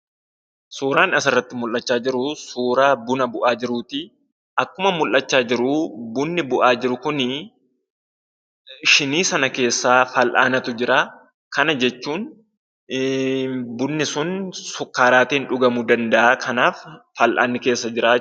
Suuraan asirratti mullachaa jiruu suuraa buna bu'aa jiruuti. Akkuma mullachaa jiruu bunni bu'aa jiru kunii shinii sana keessaa fal'aanatu jira. Kana jechuun bunni sun sukkaaraatiin dhugamuu danda'a. Kanaaf fal'aanni keessa jira.